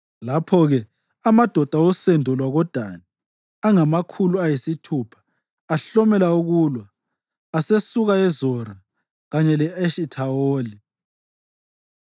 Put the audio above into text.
Lapho-ke amadoda osendo lwakoDani angamakhulu ayisithupha ahlomela ukulwa, asesuka eZora kanye le-Eshithawoli.